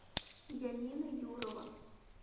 янина юрова